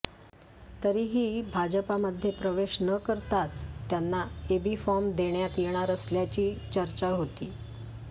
तरीही भाजपामध्ये प्रवेश न करताच त्यांना एबी फॉर्म देण्यात येणार असल्याची चर्चा होती